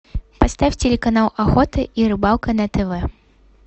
поставь телеканал охота и рыбалка на тв